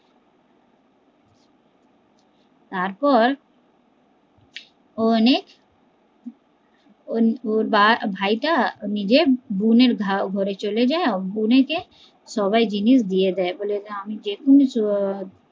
তারপর ও অনেক ওর ভাই টা নিজের বোনের ঘরে চলে যায় বোনকে সবাই জিনিস দিয়ে দেয়